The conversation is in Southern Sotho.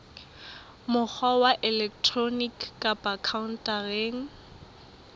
mokgwa wa elektroniki kapa khaontareng